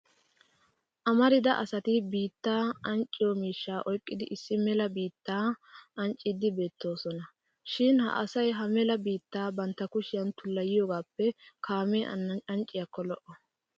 Amarida asati bittaa ancciyo miishshaa oyqqidi issi mela biittaa ancciiddi beettoosona. Shin ha asay ha mela biitta bantta kushiyan tullayiyogaappe kaamee ancciyakko lo'o.